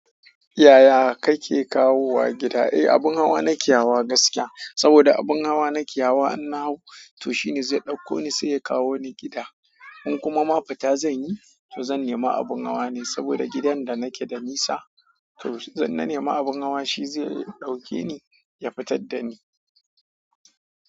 Yaya kake kawowa gida? Eh abin hawa nake hawa gaskiya, saboda abin hawa nake hawa, in na hau to shine zai ɗauko ni sai ya kawo ni gida. In kuma ma fita zan yi, to zan nema abin hawa ne saboda gidan da nake da nisa, to zan nema abin hawa shi zai ɗauke ni ya fitar da ni.